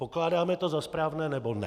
Pokládáme to za správné, nebo ne?